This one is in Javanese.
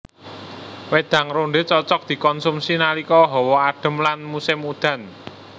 Wédang rondhé cocok dikonsumsi nalika hawa adem lan musim udan